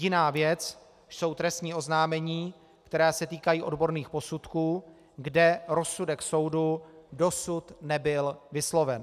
Jiná věc jsou trestní oznámení, která se týkají odborných posudků, kde rozsudek soudu dosud nebyl vysloven.